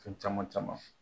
Fɛn caman caman